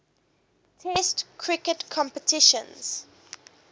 test cricket competitions